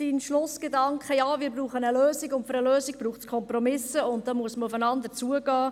Ja, wir brauchen eine Lösung, und für eine Lösung braucht es Kompromisse, und dafür muss man aufeinander zugehen.